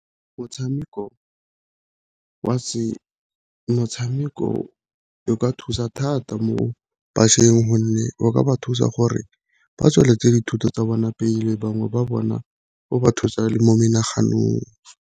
Motshameko o ka thusa thata mo bašweng gonne o ka ba thusa gore ba tsweletse dithuto tsa bona pele bangwe ba bona go ba thusa le mo menaganong.